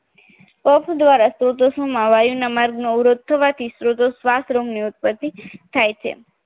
અહીં કફ કાડી પ્રાણ ઉદગમ ગ્રહણ કરેલ છે જે રોગો ઉદ્ભગતિ વાયુ વાળો દુઃખી થતો બંધન પામેલો મંદોદમાં છાતીમાં ના પેઠે અવાજ યુક્ત દીર્ઘ શ્વાસ લે છે તથા જ્ઞાન વિજ્ઞાન શૂન્ય